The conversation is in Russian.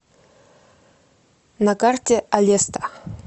на карте алеста